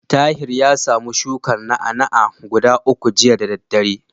Tahir ya samu shukar na'a-na'a guda uku jiya da daddare.